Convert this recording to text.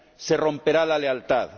Se romperá la lealtad.